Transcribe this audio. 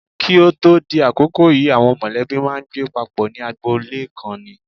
Kí o tó di àkókò yìí àwọn mọ̀lẹ́bí máa ń gbé papọ̀ ní agboolé kan ni.